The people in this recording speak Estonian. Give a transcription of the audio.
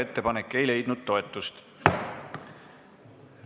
Ettepanek ei leidnud toetust.